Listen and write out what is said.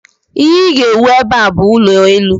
Ihe ị ga-ewu ebe a bụ ụlọelu!